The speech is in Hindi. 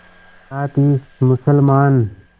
साथ ही मुसलमान